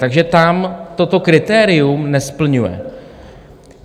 Takže tam toto kritérium nesplňuje.